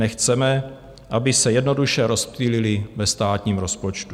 Nechceme, aby se jednoduše rozptýlily ve státním rozpočtu.